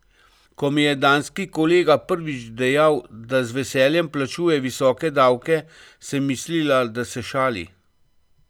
Ko mi je danski kolega prvič dejal, da z veseljem plačuje visoke davke, sem mislila, da se šali.